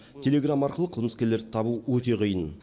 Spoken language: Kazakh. телеграм арқылы қылмыскерлерді табу өте қиын